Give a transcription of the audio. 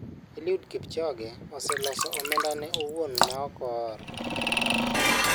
Eliud Kipchoge oselose omenda ne owuon ma ok ool.